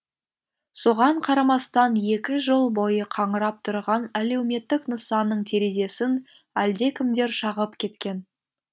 соған қарамастан екі жыл бойы қаңырап тұрған әлеуметтік нысанның терезесін әлдекімдер шағып кеткен